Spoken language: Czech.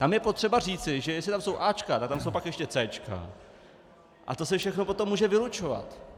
Tam je potřeba říci, že jestli tam jsou áčka, tak tam jsou pak ještě céčka, a to se všechno potom může vylučovat.